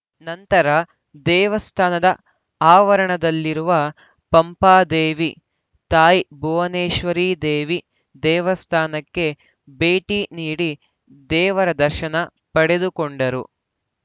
ನಂತರ ದೇವಸ್ಥಾನದ ಆವರಣದಲ್ಲಿರುವ ಪಂಪಾದೇವಿ ತಾಯಿ ಭುವನೇಶ್ವರಿದೇವಿ ದೇವಸ್ಥಾನಕ್ಕೆ ಭೇಟಿ ನೀಡಿ ದೇವರ ದರ್ಶನ ಪಡೆದುಕೊಂಡರು